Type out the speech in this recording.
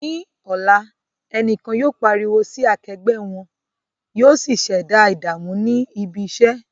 Ní ọ̀la, ẹnìkan yóò pariwo sí akẹgbẹ́ wọn, yóò sì ṣẹ̀dá ìdààmú ní ibi iṣẹ́.